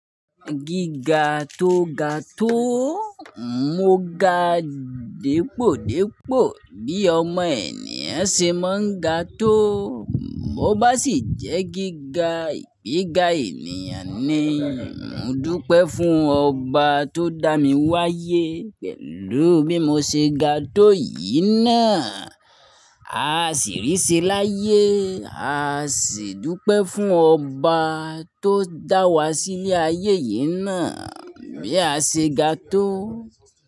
Gíga tó ga tó o hmm, mo ga depòdepò bí ọmọ ènyàn ṣe máa ń ga tó. Mo bá sì jẹ́ gíga, giga ènìyàn ni, mo dúpẹ́ fún o oba tó dá mi wáyé pẹ̀lú u bí mo ṣe ga tó yìí náà ah. A sì rí se láyé, aa sì dúpẹ́ fún o oba tó dá wa sí ilé ayé yìí náà bí a ṣe ga tó.